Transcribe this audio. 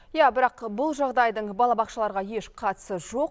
иә бірақ бұл жағдайдың балабақшаларға еш қатысы жоқ